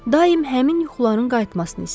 daim həmin yuxuların qayıtmasını istəyir.